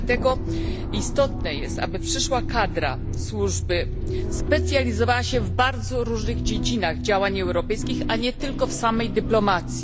Dlatego istotne jest, aby przyszła kadra służby specjalizowała się w bardzo różnych dziedzinach działań europejskich, a nie tylko w samej dyplomacji.